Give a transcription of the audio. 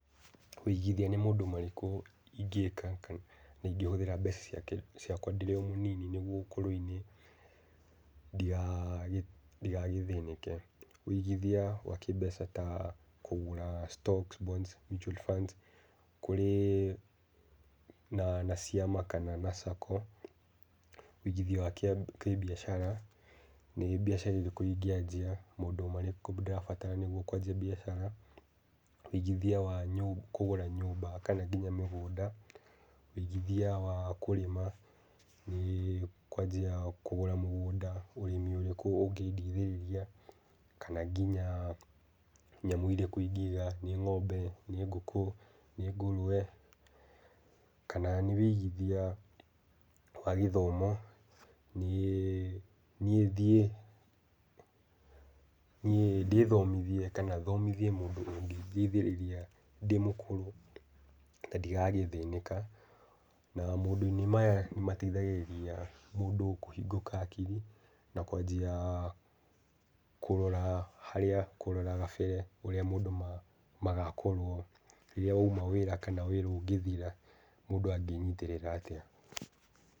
Kũigithia nĩ maũndũ marĩkũ ingĩka kana ingĩhũthĩra mbeca ciakwa ndĩrĩ o mũnini nĩguo ũkũrũ-inĩ ndigagĩthĩnĩke. Wũigithiua wa kĩmbeca ta kũgũra stock bonds, mutual funds kũrĩ na ciama kana na Sacco, wũigithia wa kĩbiacara nĩ biacara ĩrĩkũ ingĩanjia, nĩ maũndũ marĩkũ ndĩrabatara nĩguo kwanjia biacara, ũigithia wa kũgũra nyũmba kana nginya mĩgũnda, wũigithia wa kũrĩma kana kwanjia kũgũra mũgũnda, ũrĩmi ũrĩkũ ũngĩndeithĩrĩria. Kana nginya nyamũ irĩkũ ingĩiga nĩ ng'ombe, nĩ ngũkũ nĩ ngũrwe kjana nĩ wigithia wa gĩthomo niĩ thiĩ ndĩthomithie kana thomithie mũndũ ũngĩteithĩrĩria ndĩ mũkũrũ na ndigagĩthĩnĩka. Na maũndũ-inĩ maya nĩ mateithagĩrĩria mũndũ kũhingũka hakiri na kwanjia kũrora gabere ũrĩa maũndũ magakorwo rĩrĩa wauma wĩra kana wĩra ũngĩthira mũndũ angĩnyitĩrĩra atĩa.